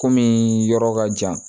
Kɔmi yɔrɔ ka jan